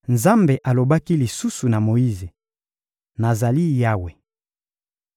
Nzambe alobaki lisusu na Moyize: — Nazali Yawe.